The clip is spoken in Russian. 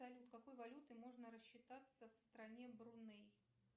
салют какой валютой можно рассчитаться в стране бруней